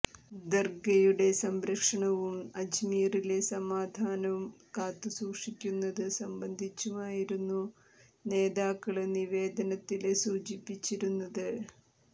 ദര്ഗയുടെ സംരക്ഷണവും അജ്മീറിലെ സമാധാനം കാത്തുസൂക്ഷിക്കുന്നത് സംബന്ധിച്ചുമായിരുന്നു നേതാക്കള് നിവേദനത്തില് സൂചിപ്പിച്ചിരുന്നത്